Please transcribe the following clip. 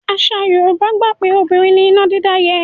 Àṣà Yorùbá gbà pé obìnrin ni iná dídá yẹ́.